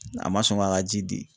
A ma sɔn k'a ka ji di.